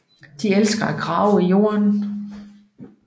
De elsker at grave i jorden